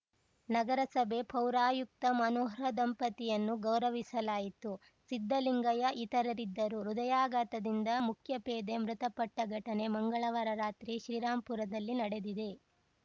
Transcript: ನಗರಸಭೆ ಪೌರಾಯುಕ್ತ ಮನೋಹರ್‌ ದಂಪತಿಯನ್ನು ಗೌರವಿಸಲಾಯಿತು ಸಿದ್ದಲಿಂಗಯ್ಯ ಇತರರಿದ್ದರು ಹೃದಯಾಘಾತದಿಂದ ಮುಖ್ಯಪೇದೆ ಮೃತಪಟ್ಟಘಟನೆ ಮಂಗಳವಾರ ರಾತ್ರಿ ಶ್ರೀರಾಂಪುರದಲ್ಲಿ ನಡೆದಿದೆ